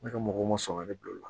Ne ka mɔgɔw ma sɔn ka ne bila o la